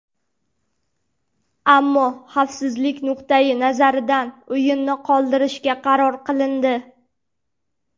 Ammo xavfsizlik nuqtai nazaridan o‘yinni qoldirishga qaror qilindi.